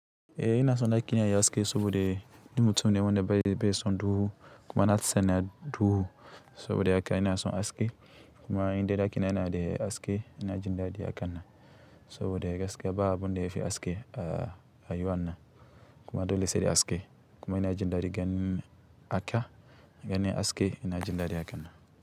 Eh ina son daƙina yayi haske saboda ni mutum ne wanda bai son duhu kuma na tsana duhu saboda haka ina son haske kuma in dai ɗaki na yana da aske ina jin daɗi haka nan. Saboda gaskiya ba abun da yafi haske a rayuwa na n. Kuma dole sai da haske kuma ina jin daɗi ganin haka, ganin haske ina jin daɗin haka na.